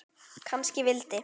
Kannski vildi